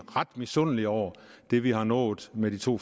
ret misundelig over det vi har nået med de to